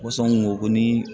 Ko sɔn kun ko ni